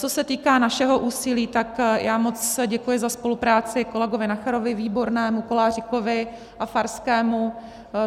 Co se týká našeho úsilí, tak já moc děkuji za spolupráci kolegovi Nacherovi, Výbornému, Koláříkovi a Farskému.